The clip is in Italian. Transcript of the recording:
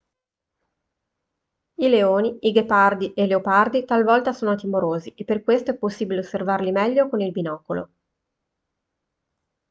i leoni i ghepardi e i leopardi talvolta sono timorosi e per questo è possibile osservarli meglio con il binocolo